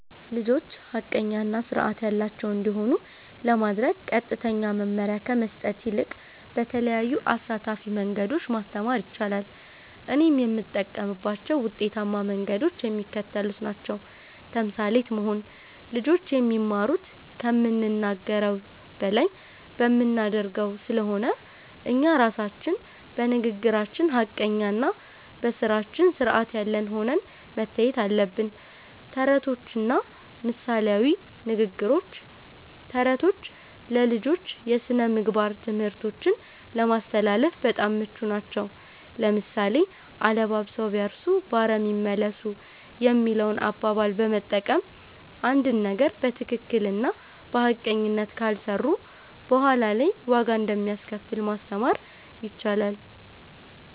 ልጆች ሐቀኛ እና ሥርዓት ያላቸው እንዲሆኑ ለማድረግ ቀጥተኛ መመሪያ ከመስጠት ይልቅ በተለያዩ አሳታፊ መንገዶች ማስተማር ይቻላል። እኔም የምጠቀምባቸው ውጤታማ መንገዶች የሚከተሉት ናቸው። ተምሳሌት መሆን (Role Modeling)፦ ልጆች የሚማሩት ከምንናገረው በላይ በምናደርገው ስለሆነ፣ እኛ ራሳችን በንግግራችን ሐቀኛና በሥራችን ሥርዓት ያለን ሆነን መታየት አለብን። ተረቶችና ምሳሌያዊ ንግግሮች፦ ተረቶች ለልጆች የሥነ-ምግባር ትምህርቶችን ለማስተላለፍ በጣም ምቹ ናቸው። ለምሳሌ፣ "አለባብሰው ቢያርሱ በአረም ይመለሱ" የሚለውን አባባል በመጠቀም፣ አንድን ነገር በትክክልና በሐቀኝነት ካልሰሩት በኋላ ላይ ዋጋ እንደሚያስከፍል ማስተማር ይቻላል።